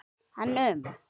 En um?